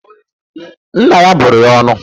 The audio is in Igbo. Nna ya bụrụ ya ọnụ.